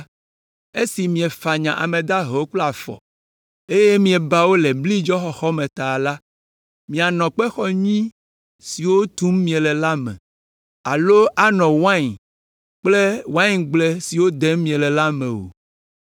Esi miefanya ame dahewo kple afɔ, eye mieba wo le blidzɔxɔxɔ me ta la, mianɔ kpexɔ nyui siwo tum miele la me alo ano wain tso waingble siwo dem miele la me o.